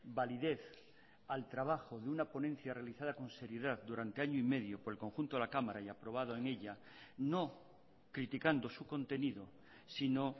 validez al trabajo de una ponencia realizada con seriedad durante año y medio por el conjunto de la cámara y aprobado en ella no criticando su contenido sino